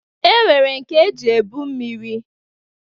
E nwere nke eji ebu mmiri